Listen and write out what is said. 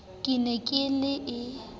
ke ne ke le e